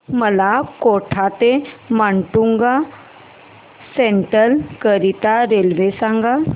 मला कोटा ते माटुंगा सेंट्रल करीता रेल्वे सांगा